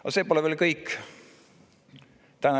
" Aga see pole veel kõik.